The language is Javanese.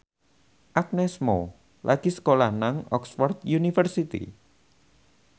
Agnes Mo lagi sekolah nang Oxford university